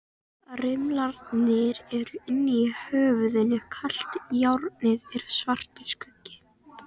Ársæll, stilltu tímamælinn á fjörutíu og eina mínútur.